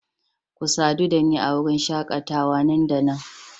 Ku sadu da ni a wurin shakatawa nan da nan